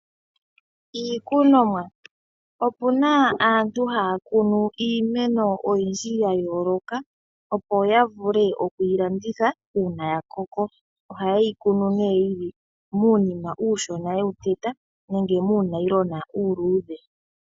Iikunomwa, opuna aantu haya kunu iimeno oyindji yayooloka, opo ya vule okwiilanditha uuna yakoko, ohaye yi kunu nee yili muunima uushona yewu teta nenge muunayilona uuluudhe.